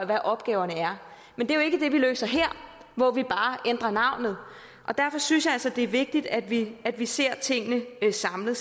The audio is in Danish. hvad opgaverne er men det er jo ikke det vi løser her hvor vi bare ændrer navnet og derfor synes jeg altså det er vigtigt at vi at vi ser tingene samlet